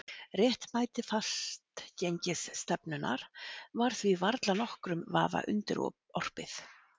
Réttmæti fastgengisstefnunnar var því varla nokkrum vafa undirorpið.